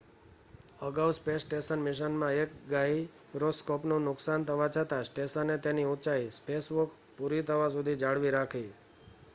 અગાઉ space station મિશનમાં એક ગાયરોસ્કોપનું નુકસાન થવા છતાં સ્ટેશને તેની ઊંચાઈ સ્પેસવોક પૂરી થવા સુધી જાળવી રાખી